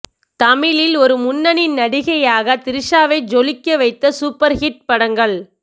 தமிழில் ஒரு முன்னணி நடிகையாக திரிஷாவை ஜொலிக்க வைத்த சூப்பர் ஹிட் படங்கள்